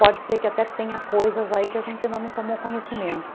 Pode ser que até tenha coisas aí que a gente ainda não tomou conhecimento.